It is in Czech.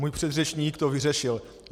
Můj předřečník to vyřešil.